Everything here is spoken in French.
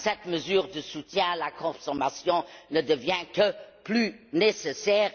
Cette mesure de soutien à la consommation ne devient que plus nécessaire.